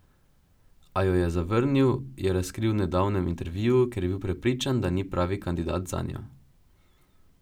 A jo je zavrnil, je razkril v nedavnem intervjuju, ker je bil prepričan, da ni pravi kandidat zanjo.